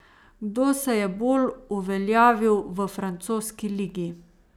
Kdo se je bolj uveljavil v francoski ligi?